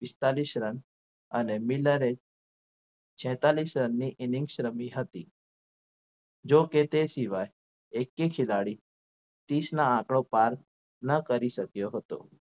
પિસ્તાલીસ રન અને મિનરે છેતાલીસ રનની innings રમી હતી જોકે તે સિવાય એકે ખેલાડી તિસના આંકડો પાર ન કરી શક્યો હતો.